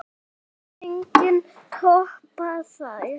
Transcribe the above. Það mun enginn toppa þær.